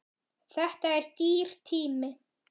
Þetta er dýr tími.